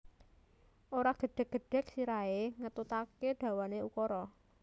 Ora gedhek gedhek sirahe ngetutake dawane ukara